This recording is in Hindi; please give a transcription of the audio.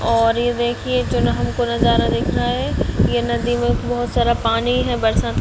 और ये देखिये जो न हमको नज़ारा दिख रहा है ये नदी में बहुत सारा पानी है बरसात का --